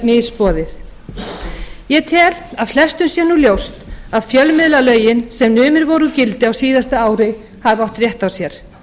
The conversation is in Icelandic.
misboðið tel að flestum sé nú ljóst að fjölmiðlalögin sem numin voru úr gildi á síðasta ári hafi átt rétt á sér